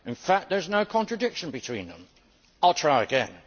In fact, there is now contradiction between them. I will try again.